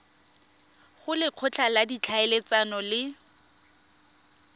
go lekgotla la ditlhaeletsano le